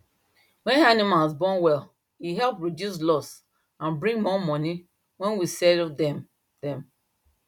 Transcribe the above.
when animal born well e help reduce loss and bring more money when we sell dem dem